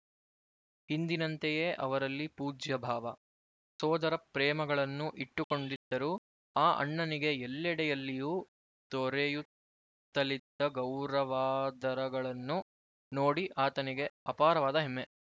ಹಿಂದಿನಂತೆಯೇ ಅವರಲ್ಲಿ ಪೂಜ್ಯಭಾವ ಸೋದರಪ್ರೇಮಗಳನ್ನು ಇಟ್ಟುಕೊಂಡಿದ್ದರು ಆ ಅಣ್ಣನಿಗೆ ಎಲ್ಲೆಡೆಯಲ್ಲಿಯೂ ದೊರೆಯುತ್ತಲಿದ್ದ ಗೌರವಾದರಗಳನ್ನು ನೋಡಿ ಆತನಿಗೆ ಅಪಾರವಾದ ಹೆಮ್ಮೆ